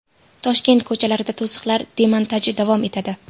Toshkent ko‘chalarida to‘siqlar demontaji davom etadi.